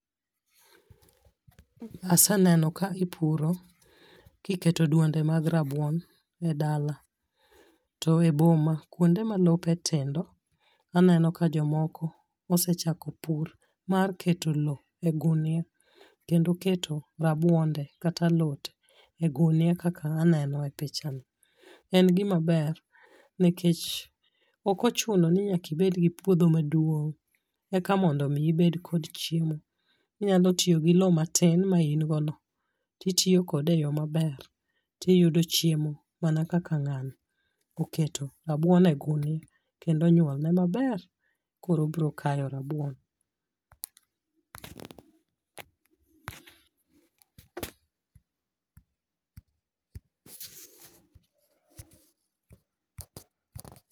Aseneno ka ipuro kiketo duonde mag rabuon e dala. To eboma kuonde ma lope tindo aneno ka jomoko osechako pur mar keto low e gunia kendo keto rabuonde kata alote e gunia kaka aneno e pichani. En gimaber nikech ok ochuno ni nyaka ibed gi puodho maduong' e ka mondo mi ibed kod chiemo. Inyalo tiyo gi low matin ma in go no titiyokode e yo maber tiyudo chiemo mana kaka ng'ano oketo rabuon e ogunia kendo onyuol ne maber. Koro obiro kayo rabuon.